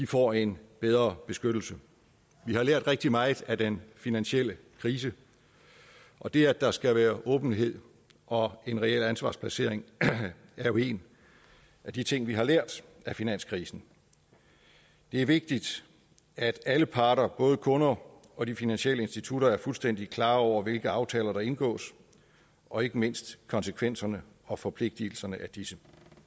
får en bedre beskyttelse vi har lært rigtig meget af den finansielle krise og det at der skal være åbenhed og reel ansvarsplacering er jo en af de ting vi har lært af finanskrisen det er vigtigt at alle parter både kunder og de finansielle institutter er fuldstændig klar over hvilke aftaler der indgås og ikke mindst konsekvenserne og forpligtelserne er af disse